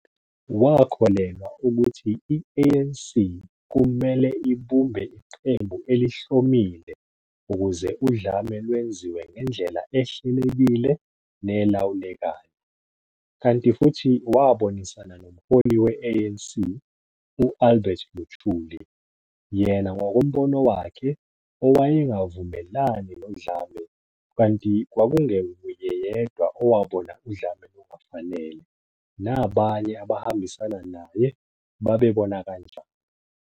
Wakholelwa ukuhti i-ANC kumele ibumbe iqembu elihlomile ukuze udlame lwenziwe ngendlela ehlelekile nelawulekayo, kanti futhi wabonisana nomholi we-ANC u- Albert Luthuli - yena ngokombono wakhe owayengavumelani nodlame kanti kwakungewuye yedwa owabona udlame lungafanele, nabanye abahambisana naye babebona kanjalo.